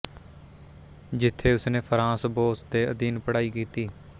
ਜਿੱਥੇ ਉਸਨੇ Franz Boas ਦੇ ਅਧੀਨ ਪੜ੍ਹਾਈ ਕੀਤੀ